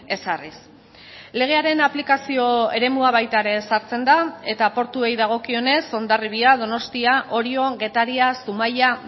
ezarriz legearen aplikazio eremua baita ere ezartzen da eta portuei dagokionez hondarribia donostia orio getaria zumaia